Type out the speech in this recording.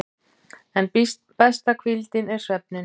En besta hvíldin er svefninn.